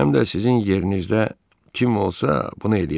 Həm də sizin yerinizdə kim olsa, bunu eləyərdi.